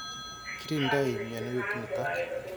Kirindoi mianwek nitok.